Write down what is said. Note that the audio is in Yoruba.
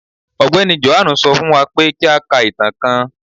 Ọgbẹni Jòhánù sọ fún wá pé kí à ká ìtàn kán